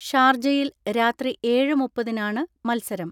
ഷാർജയിൽ രാത്രി ഏഴ് മുപ്പതിനാണ് മത്സരം.